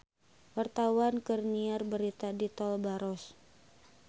Wartawan keur nyiar berita di Tol Baros